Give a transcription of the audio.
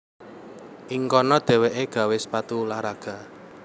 Ing kono dhéwéké gawé sepatu ulah raga